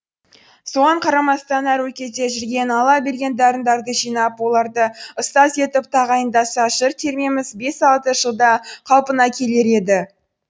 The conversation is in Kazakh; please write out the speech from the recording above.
соған қарамастан әр өлкеде жүрген алла берген дарындарды жинап оларды ұстаз етіп тағайындаса жыр термеміміз бес алты жылда қалпына келер еді